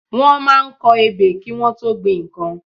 Wọ́n máa ń kọ ebè kí Wọ́n tó gbin nnkan